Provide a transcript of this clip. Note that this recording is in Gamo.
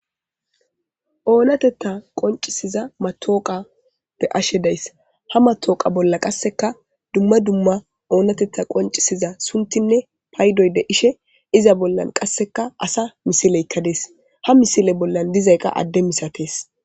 Onatetha qonicisesida matoqa be'ashe dayis qaseka duma duma onatetha qonicisesida sunithi payidoy de'ishe iza bolla qasi asa misileyika dees ha misileyka ade misates